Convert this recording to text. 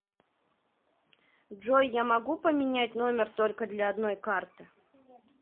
джой я могу поменять номер только для одной карты